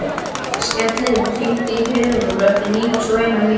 Skellir, hringdu í Herúlf eftir níutíu og eina mínútur.